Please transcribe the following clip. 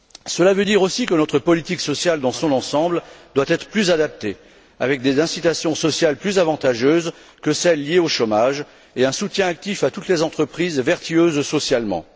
Cela veut dire, aussi, que notre politique sociale dans son ensemble doit être plus adaptée, avec des incitations sociales plus avantageuses que celles liées au chômage et un soutien actif à toutes les entreprises vertueuses socialement.